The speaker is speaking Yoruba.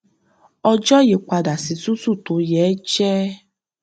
ọjọ yí padà sí tútù tó yéé jẹ